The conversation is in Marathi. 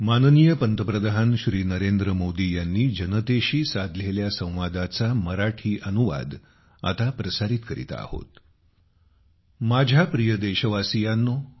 माझ्या प्रिय देशवासीयांनो